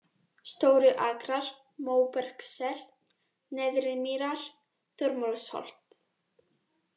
Stóru-Akrar, Móbergssel, Neðri-Mýrar, Þormóðsholt